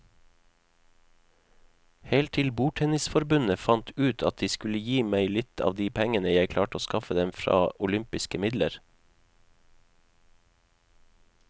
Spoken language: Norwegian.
Helt til bordtennisforbundet fant ut at de skulle gi meg litt av de pengene jeg klarte å skaffe dem fra olympiske midler.